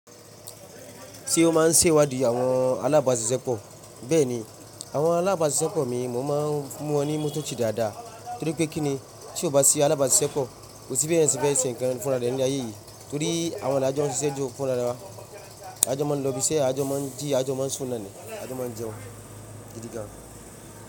Ti o máa n ṣe ìwádìí àwọn alábàsiṣepọ̀? Bẹ́ẹ̀ni, àwọn alábàṣiṣẹpọ̀ mi mo máa ń mú wọn ní mọ́tọ̀ tó dáadáa torí pé kí ni, tí o bá sí alábàáṣiṣẹpọ̀, ko sì bi èèyàn se fẹ ṣe nkan fúnra rẹ ní ile-aye yìí torí àwọn l'ajọ́ sísẹ́ ju fúnra wá. Ajọ́ máa ń lọ́biṣẹ́, ajọ́ máa ń jí, ajọ́ máa ń sun náa ni, ajọ́ máa ń jẹun, gidigàn.